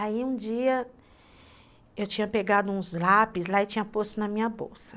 Aí um dia eu tinha pegado uns lápis lá e tinha posto na minha bolsa.